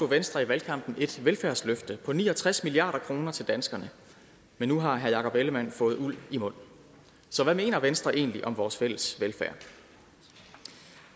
venstre i valgkampen et velfærdsløft på ni og tres milliard kroner til danskerne men nu har herre jakob ellemann jensen fået uld i mund så hvad mener venstre egentlig om vores fælles velfærd